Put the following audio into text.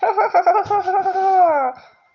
ха-ха-ха